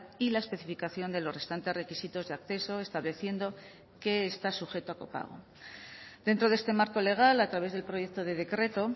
y la especificación de los restantes requisitos de acceso estableciendo qué está sujeto a copago dentro de este marco legal a través del proyecto de decreto